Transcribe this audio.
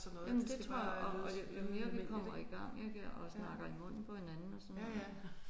Jamen det tror jeg og jo jo mere vi kommer i gang ik og snakker i munden på hinanden og sådan noget